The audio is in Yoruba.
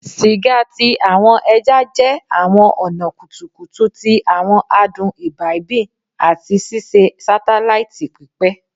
Siga ti awọn ẹja jẹ awọn ọna kutukutu ti awọn adun imbibing ati ṣiṣe satelaiti pipẹ